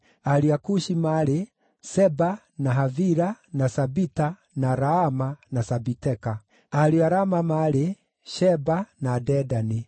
Ariũ a Kushi maarĩ: Seba, na Havila, na Sabita, na Raama, na Sabiteka. Ariũ a Raama maarĩ: Sheba, na Dedani.